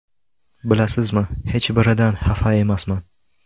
Bilasizmi, hech biridan xafa emasman.